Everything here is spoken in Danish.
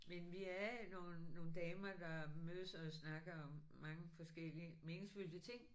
Men vi er nogle nogle damer der mødes og snakker om mange forskellige meningsfyldte ting